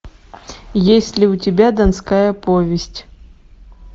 есть ли у тебя донская повесть